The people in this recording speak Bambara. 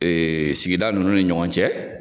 sigida ninnu ni ɲɔgɔn cɛ